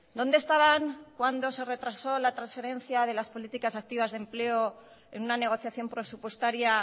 dónde estaban cuando se retrasó la transferencia de las políticas activas de empleo en una negociación presupuestaria